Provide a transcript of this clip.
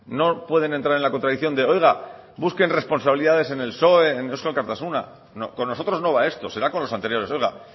no pueden entrar en la contradicción de oiga busquen responsabilidades en el psoe en eusko alkartasuna con nosotros no va esto será con los anteriores oiga